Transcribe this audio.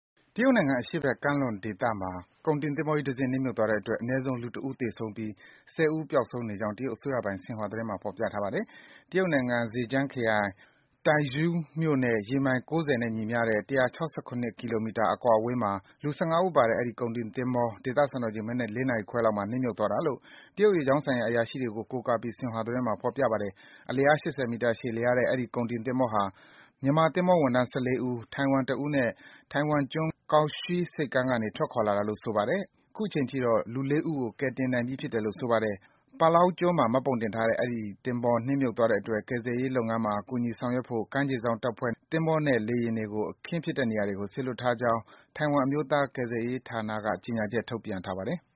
တရုတ်နိုင်ငံ အရှေ့ဘက် ကမ်းလွန်ဒေသမှာ ကုန်တင်သင်္ဘောကြီး တစင်း နစ်မြုပ် သွားတဲ့အတွက် အနည်းဆုံး လူတဦး သေဆုံးပြီး လူ ၉ ဦး ပျောက်ဆုံးနေကြောင်း တရုတ် အစိုးရပိုင် ဆင်ဟွာသတင်းမှာ ဖော်ပြထားပါတယ်။ တရုတ်နိုင်ငံ Zhejiang ခရိုင်၊ Taizhou မြို့နဲ့ ရေမိုင် ၉၀ နဲ့ ညီမျှတဲ့ ၁၆၇ ကီလိုမီတာ အကွာအဝေးမှာ လူ ၁၅ ဦးပါတဲ့ London အမည်ရှိ အဲဒီကုန်တင် သင်္ဘောကြီးဟာ ဒေသစံတော်ချိန် အင်္ဂါနေ့မနက် ၄ နာရီခွဲလောက်မှာ နစ်မြုပ်သွားတယ်လို့ တရုတ် ရေကြောင်းဆိုင်ရာ အရာရှိတွေကို ကိုးကားပြီး ဆင်ဟွာသတင်းမှာ ဖော်ပြထားပါတယ်။ အလျား ၈၀ မီတာ ရှည်လျားတဲ့ အဲဒီ ကုန်တင်သင်္ဘောဟာ မြန်မာသင်္ဘောဝန်ထမ်း ၁၄ ဦး၊ ထိုင်ဝမ် တဦးတို့နဲ့ ထိုင်ဝမ်ကျွန်းက Kaohsiung ဆိပ်ကမ်းကနေ ထွက်ခွာလာတာလို့ ဆိုပါတယ်။ အခုချိန်ထိတော့ လူ ၅ ဦးကို ကယ်တင်နိုင်ပြီး ဖြစ်တယ်လို့ ဆိုပါတယ်။ Palau ကျွန်းမှာ မှတ်ပုံတင်ထားတဲ့ အဲဒီသင်္ဘော နစ်မြုပ်သွားတဲ့အတွက် ကယ်ဆယ်ရေး လုပ်ငန်းတွေမှာ ကူညီ ဆောင်ရွက်ဖို့ ကမ်းခြေစောင့် တပ်ဖွဲ့က သင်္ဘောနဲ့ လေယာဉ်တွေကို အခင်း ဖြစ်တဲ့နေရာကို စေလွှတ်ထားကြောင်း ထိုင်ဝမ်အမျိုးသား ကယ်ဆယ်ရေးဌာနက ကြေညာချက် ထုတ်ပြန်ပါတယ်။